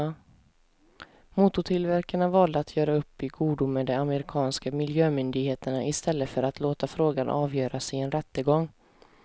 Motortillverkarna valde att göra upp i godo med de amerikanska miljömyndigheterna i stället för att låta frågan avgöras i en rättegång.